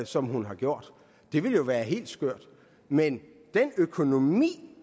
som hun har gjort det ville jo være helt skørt men den økonomi